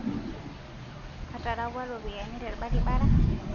Katarapua ropiyiani telbarabara